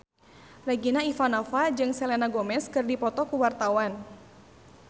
Regina Ivanova jeung Selena Gomez keur dipoto ku wartawan